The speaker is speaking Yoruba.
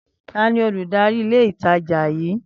Tani Olùdarí ilé ìtajà yí?